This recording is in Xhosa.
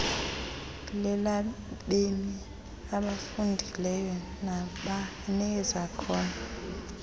lelabemi abafundileyo nabanezakhono